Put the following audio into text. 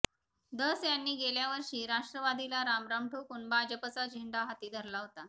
धस यांनी गेल्या वर्षी राष्ट्रवादीला रामराम ठोकून भाजपचा झेंडा हाती धरला होता